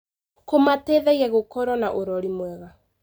Kũmateithagia gũkorwo na ũrori mwega.